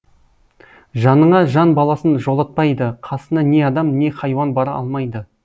жаныңа жан баласын жолатпайды қасына не адам не хайуан бара алмайды